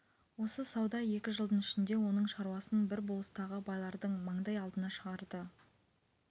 осы сауда екі жылдың ішінде оның шаруасын бір болыстағы байлардың маңдай алдына шығарды